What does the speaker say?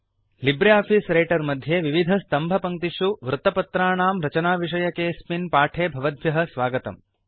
Libre office Writer मध्ये विविधस्तम्भपङ्क्तिषु वृत्तपत्राणां रचनाविषयकेऽस्मिन् पाठे भवद्भ्यः स्वागतम्